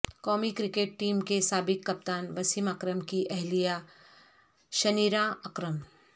قومی cricket team کے سابق کپتان وسیم اکرم کی اہلیہ شنیرا اکرم